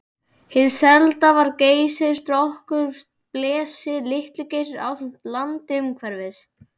Hið selda var Geysir, Strokkur, Blesi, Litli-Geysir ásamt landi umhverfis.